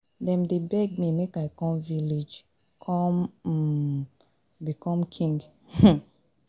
Dem dey beg me make I come village come um become king. um